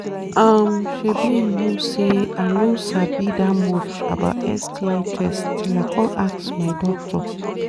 um shebi u know say i no sabi that much about sti test till i come ask my doctor